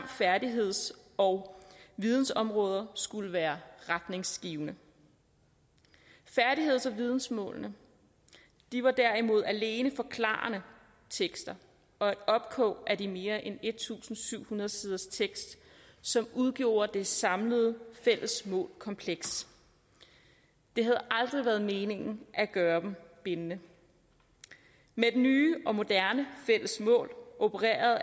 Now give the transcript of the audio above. og færdigheds og vidensområderne skulle være retningsgivende færdigheds og vidensmålene var derimod alene forklarende tekster og et opkog af de mere end en tusind syv hundrede siders tekst som udgjorde det samlede fælles målkompleks det havde aldrig været meningen at gøre dem bindende med de nye og moderne fælles mål opererer